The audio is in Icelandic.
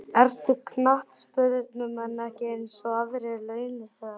Eru knattspyrnumenn ekki eins og aðrir launþegar?